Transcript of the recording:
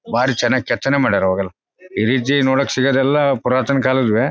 ಭಾರಿ ಚೆನ್ನಾಗ್ ಕೆತ್ತನೆ ಮಾಡವ್ರೆ ಅವಾಗೆಲ್ಲ ಇದಿಜ್ಜಿ ನೋಡಕ್ ಸಿಗೋದೆಲ್ಲ ಪುರಾತನ ಕಾಲದ್ವೆ--